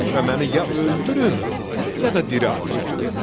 Sonra məni ya öldürün ya da diri aparın.